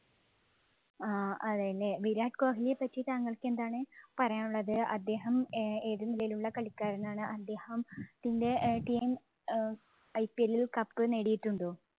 ആഹ് അതേല്ലേ, വിരാട് കോഹിലിയെ പറ്റി താങ്കള്‍ക്ക് എന്താണ് പറയാന്‍ ഉള്ളത്? അദ്ദേഹം ഏതു നിലയിലുള്ള കളിക്കാരനാണ്? അദ്ദേഹത്തിന്‍റെ teamIPL ഇല് cup നേടിയിട്ടുണ്ടോ?